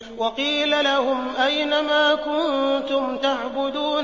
وَقِيلَ لَهُمْ أَيْنَ مَا كُنتُمْ تَعْبُدُونَ